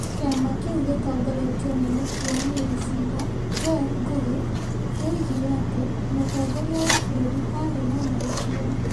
Kĩama kĩu gĩtongoretio nĩ Mũtuanĩri cira Joel Ngũgi, kĩoigire atĩ mũtongoria wa bũrũri aarĩ na mahĩtia ,